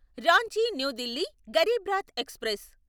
Ranchi new Delhi Garib Rath express